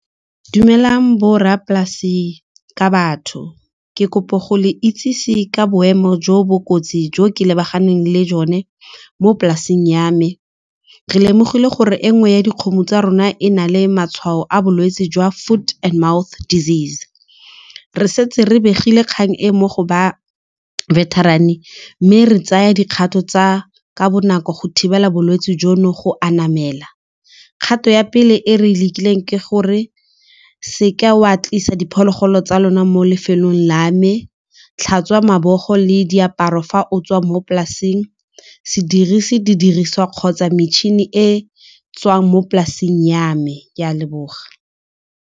Dumelang borra polasi ka batho ke kopa go le itsise ka boemo jo bo kotsi jo ke lebaganeng le jone mo polaseng ya me. Re lemogile gore e nngwe ya dikgomo tsa rona e na le matshwao a bolwetse jwa foot and mouth disease, re setse re begile kgang e mo go ba veterinarian, mme re tsaya dikgato tsa ka bonako go thibela bolwetse jono go anamela. Kgato ya pele e re e lekileng ke gore seka wa tlisa diphologolo tsa lona mo lefelong la me, tlhatswa mabogo le diaparo fa o tswa mo polasing, se dirise diriswa kgotsa metšhini e tswang mo polaseng ya me ke a leboga.